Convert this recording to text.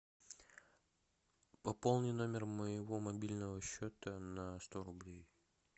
пополни номер моего мобильного счета на сто рублей